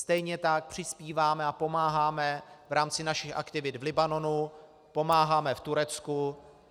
Stejně tak přispíváme a pomáháme v rámci našich aktivit v Libanonu, pomáháme v Turecku.